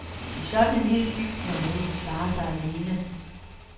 I sådan en lille by kan man ikke klare sig alene.